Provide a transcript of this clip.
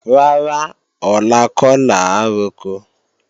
Rárá, ọ̀la kọ́ làá roko